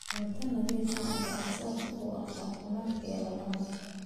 Cunto nadiif ah ayaa aasaas u ah caafimaadka iyo ladnaanta.